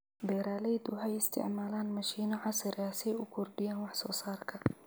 Beeraleydu waxay isticmaalaan mashiino casri ah si ay u kordhiyaan wax soo saarka.